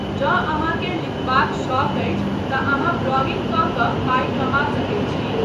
जँ अहाँके लिखबाक शौक अछि तँ अहाँ ब्लॉगिंग कऽ कऽ पाइ कमा सकैत छी।